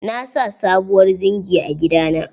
Na sa subuwar zingi a gida na.